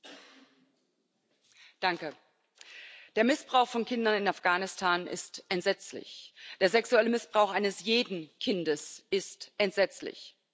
Herr Präsident! Der Missbrauch von Kindern in Afghanistan ist entsetzlich, der sexuelle Missbrauch eines jeden Kindes ist entsetzlich.